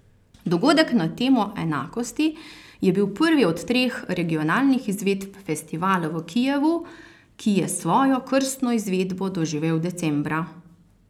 Dogodek na temo enakosti je bil prvi od treh regionalnih izvedb festivala v Kijevu, ki je svojo krstno izvedbo doživel decembra.